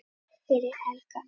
fyrir Helga.